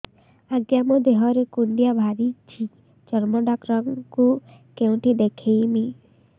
ଆଜ୍ଞା ମୋ ଦେହ ରେ କୁଣ୍ଡିଆ ବାହାରିଛି ଚର୍ମ ଡାକ୍ତର ଙ୍କୁ କେଉଁଠି ଦେଖେଇମି